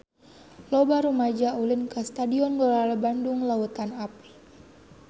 Loba rumaja ulin ka Stadion Gelora Bandung Lautan Api